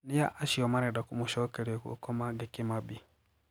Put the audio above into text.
Nia acio marenda kumucokeria guko Mange Kimambi?